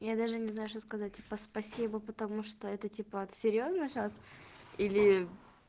я даже не знаю что сказать типа спасибо потому что это типа вот серьёзно сейчас или